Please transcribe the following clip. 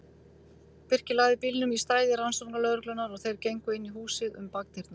Birkir lagði bílnum í stæði rannsóknarlögreglunnar og þeir gengu inn í húsið um bakdyrnar.